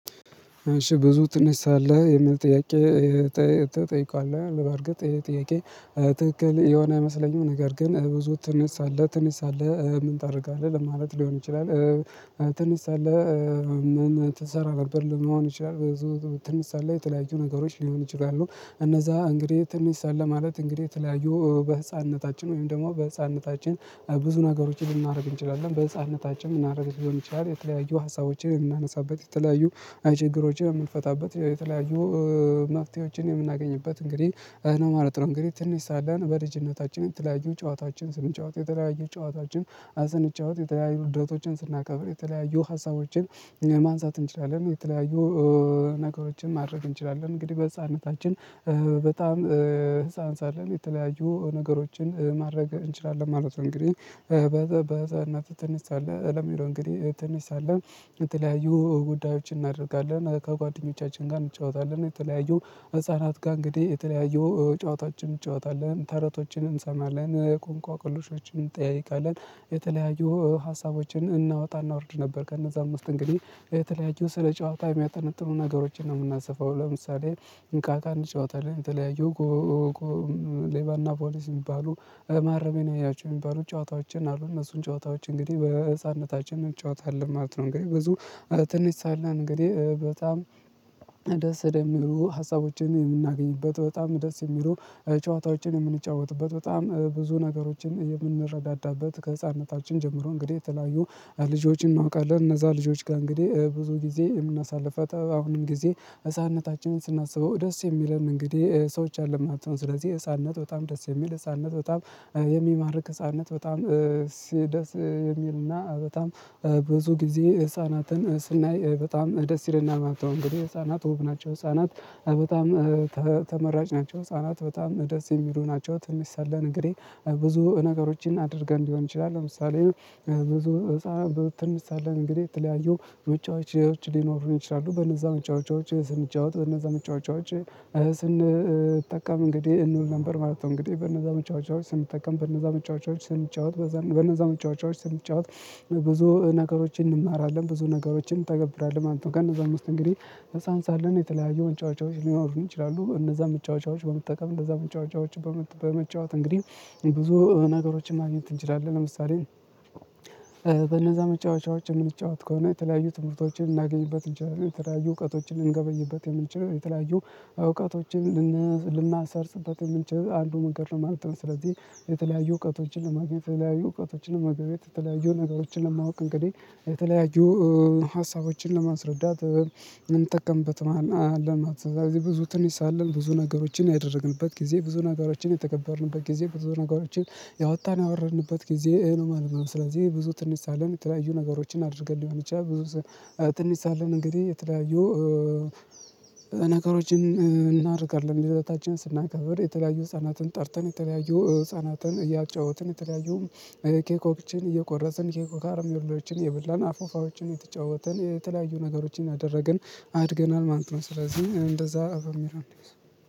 እሺ ብዙ ትነሳለህ የሚል ጥያቄ ትጠይቃለህ በርግጥ ይሄ ጥያቄ? ትክክል የሆነ አይመሰለኝም ነገር ግን ብዙ ትነሳለህ ትነሳለህ ምን ታደርጋለህ ለማለት ሊሆን ይችላል። ትንሳለህ ምን ትሰራ ነበር ለመሆን ይችላል። ትንሽ ሳለህ የተለያዩ ነገሮች ሊሆን ይችላሉ እነዛ እንግዲህ ትንሽ ሳለህ ማለት እንግዲህ የተለያዩ በህፃንነታችን ወይም ደግሞ በህፃንነታችን ብዙ ነገሮችን ልናደርግ እንችላለን በህፃንነታችን ልናደርግ ሊሆን ይችላል የተለያዩ ሀሳቦችን የምናነሳበት የተለያዩ ችግሮችን የምንፈታበት የተለያዩ መፍትሄዎችን የምናገኝበት እንግዲህ ነው ማለት ነው። እንግዲህ ትንሽ ሳለን በልጅነታችን የተለያዩ ጨዋታችን ስንጫወት የተለያዩ ጨዋታችን አስንጫወት የተለያዩ ልደቶችን ስናከብር የተለያዩ ሀሳቦችን ማንሳት እንችላለን የተለያዩ ነገሮችን ማድረግ እንችላለን እንግዲህ በህፃንነታችን በጣም ህፃን ሳለን የተለያዩ ነገሮችን ማድረግ እንችላለን ማለት ነው። እንግዲህ በህፃንነትህ ትንሽ ሳለህ ለሚለው እንግዲህ ትንሽ ሳለን የተለያዩ ጉዳዮችን እናደርጋለን ከጓደኞቻችን ጋር እንጫወታለን የተለያዩ ህፃናት ጋር እንግዲህ የተለያዩ ጨዋታችን እንጫወታለን ተረቶችን እንሰማለን እንቅልሾችን እንጠያየቃለን የተለያዩ ሀሳቦችን እናወጣ እናወርድ ነበር። ከነዛም ውስጥ እንግዲህ የተለያዩ ስለ ጨዋታ የሚያጠነጥኑ ነገሮችን ነው የምናሰፋው ለምሳሌ እንቃታ አንጫወታለን የተለያዩ ሌባና ፖሊስ የሚባሉ ማረሜን ያያችሁ የሚባሉ ጨዋታዎችን አሉ እነሱን ጨዋታዎች እንግዲህ በህፃንነታችን እንጨዋታለን ማለት ነው። እንግዲህ ብዙ ትንሽ ሳለን እንግዲህ በጣም ደስ የሚሉ ሀሳቦችን የምናገኝበት በጣም ደስ የሚሉ ጨዋታዎችን የምንጫወትበት በጣም ብዙ ነገሮችን የምንረዳዳበት ከህፃንነታችን ጀምሮ እንግዲህ የተለያዩ ልጆችን እናውቃለን እነዛ ልጆች ጋር እንግዲህ ብዙ ጊዜ የምናሳልፈው አሁንም ጊዜ ህፃንነታችንን ስናስበው ደስ የሚለን እንግዲህ ሰዎች አሉ ማለት ነው። ስለዚህ ህፃንነት በጣም ደስ የሚል ህፃንነት በጣም የሚማርክ ህፃንነት በጣም ደስ የሚልና በጣም ብዙ ጊዜ ህፃናትን ስናይ በጣም ደስ ይለናል ማለት ነው። እንግዲህ ህፃናት ውብ ናቸው ህፃናት በጣም ተመራጭ ናቸው ህፃናት በጣም ደስ የሚሉ ናቸው። ትንሽ ሳለን እንግዲህ ብዙ ነገሮችን አድርገን ሊሆን ይችላል ለምሳሌ ብዙ ህፃን ትንሽ ሳለን እንግዲህ የተለያዩ መጫወቻዎች ሊኖሩን ይችላሉ በነዛ መጫወቻዎች ስንጫወት በነዛ መጫወቻዎች ስንጠቀም እንግዲህ እንውል ነበር ማለት ነው። እንግዲህ በነዛ መጫወቻዎች ስንጠቀም በነዛ መጫወቻዎች ስንጫወት በነዛ መጫወቻዎች ስንጫወት ብዙ ነገሮችን እንማራለን ብዙ ነገሮችን እንተገብራለን ማለት ነው። ከእነዛም ውስጥ እንግዲህ ህፃን ሳለን የተለያዩ መጨዋቻዎች ሊኖሩን ይችላሉ እነዛን መጫወቻዎች በመጠቀም እንዛን መጫወቻዎች በመጫወት እንግዲህ ብዙ ነገሮችን ማግኘት እንችላለን። ለምሳሌ በነዛ መጫወቻዎች የምንጫወት ከሆነ የተለያዩ ትምህርቶችን ልናገኝበት እንችላለን የተለያዩ እውቀቶችን ልንገበይበት የምንችለው የተለያዩ እውቀቶችን ልናሰርጽበት የምንችለው አንዱ መንገድ ነው ማለት ነው። ስለዚህ የተለያዩ እውቀቶችን ለማግኘት የተለያዩ እውቀቶችን ለመገብየት የተለያዩ ነገሮችን ለማወቅ እንግዲህ የተለያዩ ሀሳቦችን ለማስረዳት ምንጠቀምበት አለን ማለት ነው። ስለዚህ ብዙ ትንሽ ሳለን ብዙ ነገሮችን ያደረግንበት ጊዜ ብዙ ነገሮችን የተከበርንበት ጊዜ ብዙ ነገሮችን ያወጣን ያወረንበት ጊዜ ነው ማለት ነው። ስለዚህ ብዙ ትንሽ ሳለን የተለያዩ ነገሮችን አድርገን ሊሆን ይችላል። ብዙ ትንሽ ሳለን እንግዲህ የተለያዩ ነገሮችን እናደርጋለን ልደታችንን ስናከብር የተለያዩ ህፃናትን ጠርተን የተለያዩ ህፃናትን እያጫወትን የተለያዩም ኬኮችን እየቆረስን ኬኮ ካርም የሌሎችን እየበላን አፎፋዎችን እየተጫወትን የተለያዩ ነገሮችን እያደረግን አድገናል ማለት ነው። ስለዚህ እንደዛ በሚለው እንያዘው